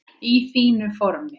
Í fínu formi.